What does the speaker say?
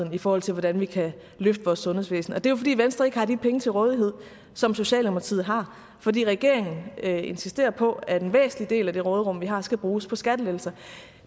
i forhold til hvordan vi kan løfte vores sundhedsvæsen og det er jo fordi venstre ikke har de penge til rådighed som socialdemokratiet har fordi regeringen insisterer på at en væsentlig del af det råderum vi har skal bruges på skattelettelser